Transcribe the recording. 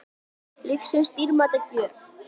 Lífsins dýrmæta gjöf.